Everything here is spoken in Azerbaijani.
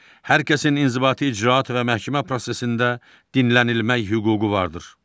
Hər kəsin inzibati icraat və məhkəmə prosesində dinlənilmək hüququ vardır.